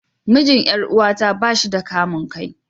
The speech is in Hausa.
Mijin Yar'uwata ba shi da kamun kai.